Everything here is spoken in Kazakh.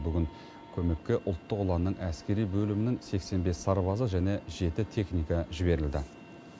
бүгін көмекке ұлттық ұланның әскери бөлімінің сексен бес сарбазы және жеті техника жіберілді